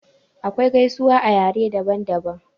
Akwai gaisuwa a yare daban daban.